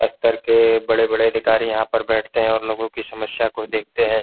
स्तर के बड़े-बड़े अधिकारी यहां पर बैठते हैं और लोगों की समस्या को भी देखते हैं।